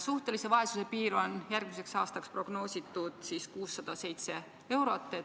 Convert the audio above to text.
Suhtelise vaesuse piiriks järgmisel aastal on prognoositud 607 eurot.